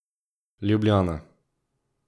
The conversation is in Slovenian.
Ljubljana.